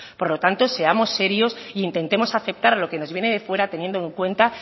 por lo tanto seamos serios e intentemos aceptar lo que nos viene de fuera teniendo en cuenta